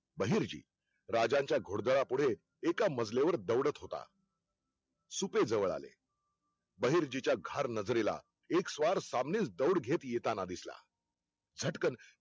बहिर्जी राजांच्या घोडदला पुढे एका मजलेवर दौडत होता. सुपे जवळ आले, बहिर्जीच्या घार नजरेला एक स्वार सामनीच दौड घेत येताना दिसला. झटकन